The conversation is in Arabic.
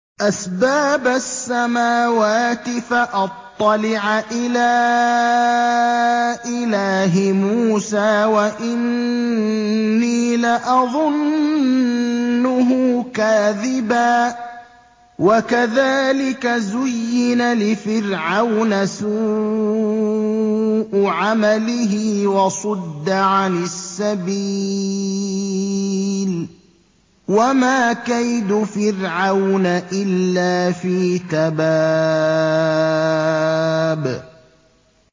أَسْبَابَ السَّمَاوَاتِ فَأَطَّلِعَ إِلَىٰ إِلَٰهِ مُوسَىٰ وَإِنِّي لَأَظُنُّهُ كَاذِبًا ۚ وَكَذَٰلِكَ زُيِّنَ لِفِرْعَوْنَ سُوءُ عَمَلِهِ وَصُدَّ عَنِ السَّبِيلِ ۚ وَمَا كَيْدُ فِرْعَوْنَ إِلَّا فِي تَبَابٍ